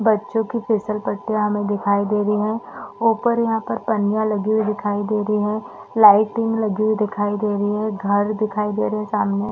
बच्चों की फिसल पट्टियाँ हमें दिखाई दे रही है ऊपर यहाँ पर पन्निया लगी हुई दिखाई दे रही है लाइटिंग लगी हुई दिखाई दे रही है घर दिखाई दे रहे है सामने --